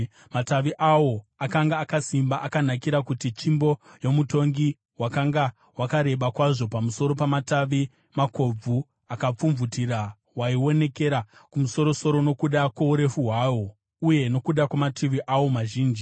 Matavi awo akanga akasimba, akanakira kuva tsvimbo yomutongi. Wakanga wakareba kwazvo pamusoro pamatavi makobvu akapfumvutira, waionekera kumusoro-soro nokuda kwourefu hwawo, uye nokuda kwamatavi awo mazhinji.